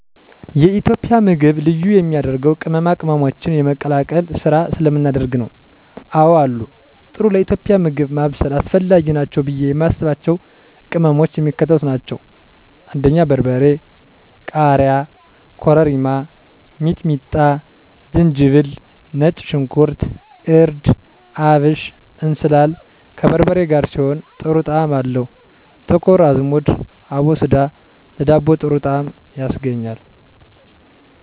የኢትዮጵያ ምግብ ልዩ የሚያደርገው ቅመማ ቅመሞችን የመቀላቀል ስራ ስለምናደርግ ነው። *አወ አሉ፦ ጥሩ ለኢትዮጵያዊ ምግብ ማብሰል አስፈላጊ ናቸው ብዬ የማስባቸው ቅመሞች የሚከተሉት ናቸው: * በርበሬ *ቃሪያ * ኮረሪማ * ሚጥሚጣ * ዝንጅብል * ነጭ ሽንኩርት * እርድ * አብሽ *እንስላል፦ ከበርበሬ ጋር ሲሆን ጥሩ ጣዕም አለው *ጥቁር አዝሙድ(አቦስዳ)ለዳቦ ጥሩ ጣዕም ያስገኛል።